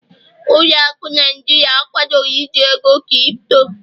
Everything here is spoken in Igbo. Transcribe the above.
ụlọ akụ Naijiria akwadoghi iji ego Kripto